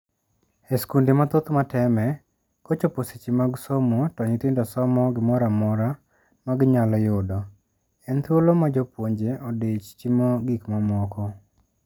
E skunde mathoth mateme, kochopo seche mag somo to nyithindo somo gimoramora ma ginyalo yudo. En thuolo ma jopuonje odich timo gik mamoko.